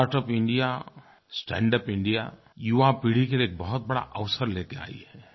startup India standup India युवा पीढ़ी के लिए एक बहुत बड़ा अवसर लेकर आयी है